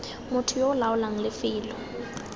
motho yo o laolang lefelo